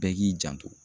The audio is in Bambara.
Bɛɛ k'i janto